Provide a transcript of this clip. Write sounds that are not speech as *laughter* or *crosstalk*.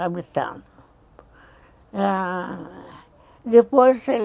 Habitado, ah... Depois *unintelligible*